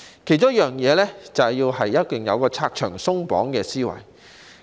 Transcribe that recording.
其中一樣是要有"拆牆鬆綁"的思維。